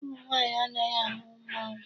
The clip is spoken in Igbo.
Ụmụ nwaanyị anaghị ahụ mmọnwụ.